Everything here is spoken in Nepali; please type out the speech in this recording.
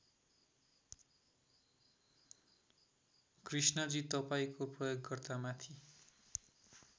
कृष्णजी तपाईँको प्रयोगकर्ता माथि